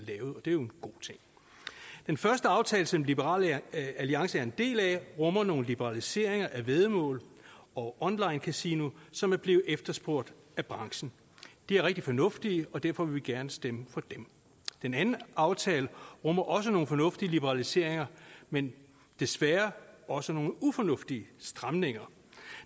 er jo en god ting den første aftale som liberal alliance er en del af rummer nogle liberaliseringer af væddemål og onlinekasino som er blevet efterspurgt af branchen de er rigtig fornuftige og derfor vil vi gerne stemme for dem den anden aftale rummer også nogle fornuftige liberaliseringer men desværre også nogle ufornuftige stramninger